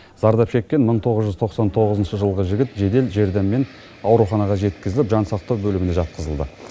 зардап шеккен мың тоғыз жүз тоқсан тоғызыншы жылғы жігіт жедел жәрдеммен ауруханаға жеткізіліп жансақтау бөліміне жатқызылды